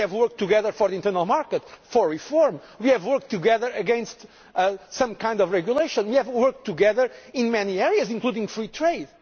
and the Conservative Group. We have worked together for the internal market, for reform, we have worked together against some kinds of regulation, we have worked together in many